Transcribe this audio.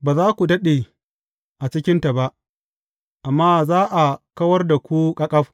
Ba za ku daɗe a cikinta ba, amma za a kawar da ku ƙaƙaf.